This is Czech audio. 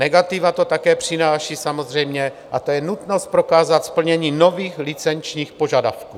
Negativa to také přináší samozřejmě - a to je nutnost prokázat splnění nových licenčních požadavků.